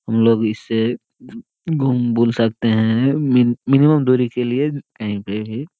हमलोग इसे घूम बोल सकते है मिन मिनिमम दुरी के लिए --